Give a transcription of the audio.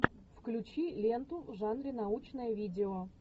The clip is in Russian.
включи ленту в жанре научное видео